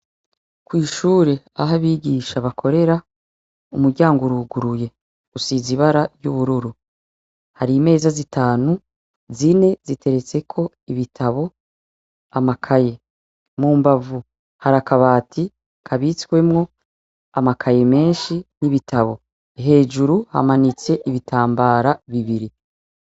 Kw'ishure ah'abigisha bakorera, umuryango uruguruye, usize ibara ry'ubururu. Hari imeza zitanu , zine ziteretseko ibitabo, amakaye. Mumbavu ,hari akabati kabitswemwo amakaye menshi n'ibitabo. Hejuru hamanitse ibitambara bibiri.